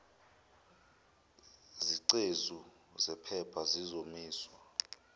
zingcezu zephepha zizokomiswa